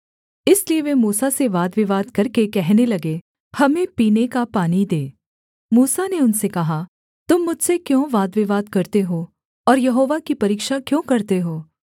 इसलिए वे मूसा से वादविवाद करके कहने लगे हमें पीने का पानी दे मूसा ने उनसे कहा तुम मुझसे क्यों वादविवाद करते हो और यहोवा की परीक्षा क्यों करते हो